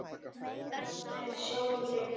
Öskra með sjálfri mér.